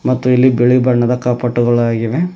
ಮತ್ತು ಇಲ್ಲಿ ಬಿಳಿ ಬಣ್ಣದ ಕಪಾಟ್ಟುಗಳಾಗಿವೆ.